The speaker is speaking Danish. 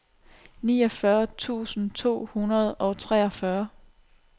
niogfyrre tusind to hundrede og treogfyrre